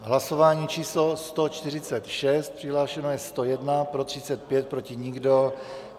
Hlasování číslo 146, přihlášeno je 101, pro 35, proti nikdo.